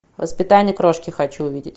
воспитание крошки хочу увидеть